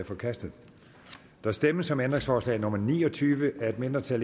forkastet der stemmes om ændringsforslag nummer ni og tyve af et mindretal